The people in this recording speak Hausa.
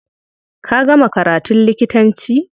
Ka gama karatun likitanci?